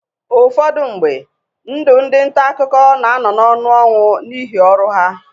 Ụfọdụ mgbe, ndụ ndị nta akụkọ na-anọ n'ọnụ ọnwụ n'ihi ọrụ ha.